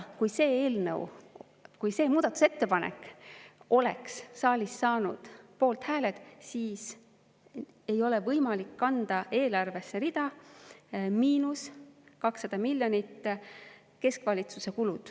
Kui see muudatusettepanek oleks saalis saanud poolthääled, siis ei oleks võimalik kanda eelarvesse rida "miinus 200 miljonit keskvalitsuse kulud".